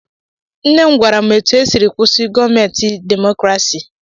Nne m gwara m etu esiri kwụsị gọọmentị demokrasi.